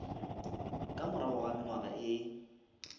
ka morago ga mengwaga ye